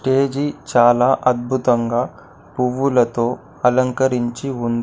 Stage చాలా అద్భుతంగా పువ్వులతో అలంకరించి ఉంది.